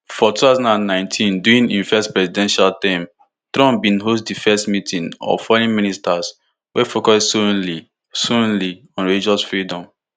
for two thousand and nineteen during im first presidential term trump bin host di first meeting of foreign ministers wey focus solely solely on religious freedom